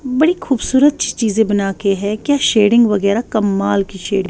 .بدی خوبصورت چھی چھجے بناکے ہیں کے شیئرنگ وگراہ کمال کی شیڈنگ